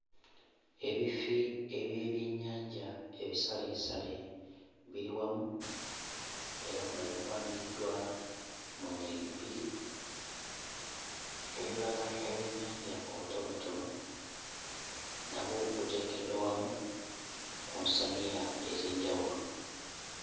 Ebifi eby'ebyennyanja ebisaleesale biri wamu era nga bipangiddwa mu nnyiriri bbiri. Obulala obwennyanja obutonotono nabwo buteekeddwa wamu ku nsaniya ez'enjawulo.